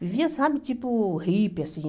Vivia, sabe, tipo hippie, assim.